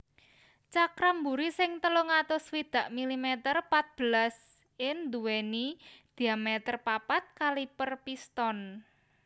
Cakram mburi sing telung atus swidak milimeter patbelas in nduwèni diameter papat kaliper piston